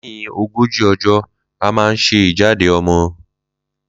Lẹ́yìn ogójì ọjọ́ à máa ń sẹ ìjáde ọmọ